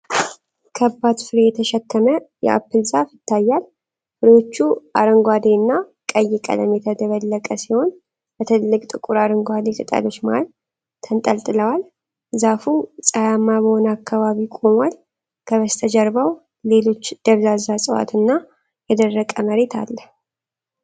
ከባድ ፍሬ የተሸከመ የአፕል ዛፍ ይታያል። ፍሬዎቹ አረንጓዴ እና ቀይ ቀለም የተደበለቀ ሲሆን፣ በትልልቅ ጥቁር አረንጓዴ ቅጠሎች መሃል ተንጠልጥለዋል። ዛፉ ፀሐያማ በሆነ አካባቢ ቆሟል። ከበስተጀርባው ሌሎች ደብዛዛ ዕፅዋት እና የደረቀ መሬት አለ።